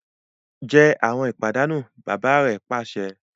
Je awọn ipanu! baba re pase